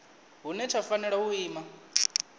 hune tsha fanela u ima